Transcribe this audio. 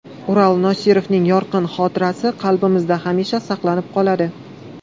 Ural Nosirovning yorqin xotirasi qalblarimizda hamisha saqlanib qoladi.